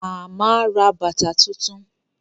Màmá ra bàtà tuntun